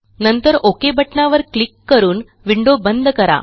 नंतर ओक बटणावर क्लिक करून विंडो बंद करा